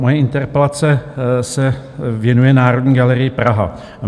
Moje interpelace se věnuje Národní galerii Praha.